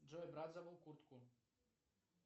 джой брат забыл куртку